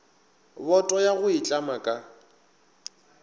boto ya go itlama ka